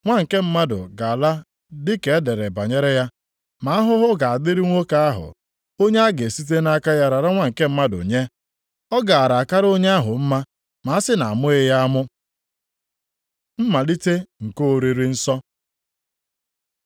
Nwa nke Mmadụ ga-ala dị ka e dere banyere ya. Ma ahụhụ ga-adịrị nwoke ahụ onye a ga-esite nʼaka ya rara Nwa nke Mmadụ nye. Ọ gaara akara onye ahụ mma ma a sị na a mụghị ya amụ.” Mmalite nke oriri nsọ